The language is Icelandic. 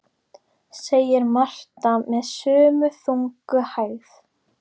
segir Marta með sömu þungu hægð.